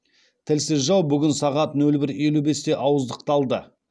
тілсіз жау бүгін сағат нөл бір елу бесте ауыздықталды